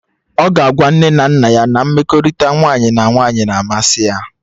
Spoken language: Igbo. Ọ ga agwa nne na nna ya na mmekọrịta nwaanyị na nwaanyị na-amasị ya